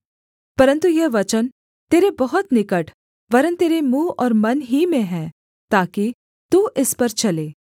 परन्तु यह वचन तेरे बहुत निकट वरन् तेरे मुँह और मन ही में है ताकि तू इस पर चले